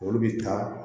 Olu bi taa